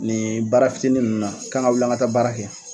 Nin baara fitinin ninnu na, k'an ka wuli ka taa baara kɛ.